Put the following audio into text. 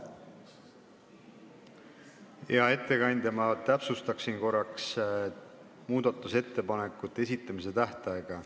Hea ettekandja, ma täpsustan korraks muudatusettepanekute esitamise tähtaega.